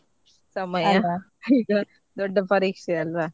ಸಮಯ ಈಗ ದೊಡ್ಡ ಪರೀಕ್ಷೆ ಅಲ್ವಾ.